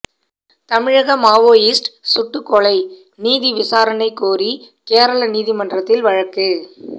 தமிழக மாவோயிஸ்ட் சுட்டுக் கொலை நீதி விசாரணை கோரி கேரள நீதிமன்றத்தில் வழக்கு